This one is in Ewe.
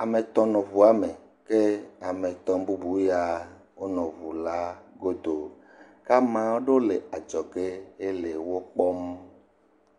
ame etɔ̃ nɔ ŋu la me eye ame tɔ̃ bubu ya wonɔ ŋu la godo ke ame aɖewo le adzɔge hele wo kpɔm.